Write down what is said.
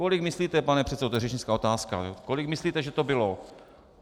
Kolik myslíte, pane předsedo - to je řečnická otázka - kolik myslíte, že to bylo?